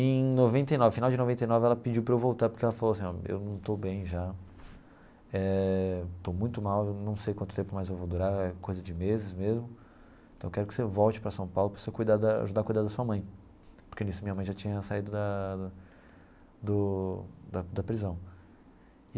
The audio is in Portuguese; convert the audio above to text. Em noventa e nove, final de noventa e nove, ela pediu para eu voltar, porque ela falou assim ó, eu não estou bem já, eh estou muito mal, não sei quanto tempo mais eu vou durar, é coisa de meses mesmo, então eu quero que você volte para São Paulo para você cuidar da ajudar a cuidar da sua mãe, porque nisso minha mãe já tinha saído da da do prisão.